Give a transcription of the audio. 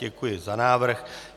Děkuji za návrh.